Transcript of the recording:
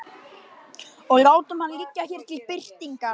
Og látum hann liggja hér til birtingar.